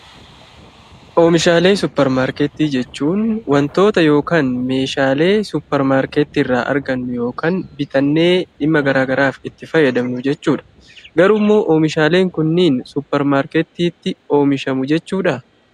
Oomishaalee suppermaarkettii jechuun wantoota ( meeshaalee) suppermaarkettii irraa argannu yookaan bitannee dhimma garaagaraaf itti fayyadamnu jechuu dha. Garuu immoo oomishaaleen kunniin suppermaarkettiitti oomishamu jechuu dhaa?